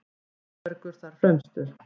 Auðbergur þar fremstur.